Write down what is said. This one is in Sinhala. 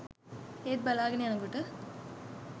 ඒත් බලාගෙන යනකොට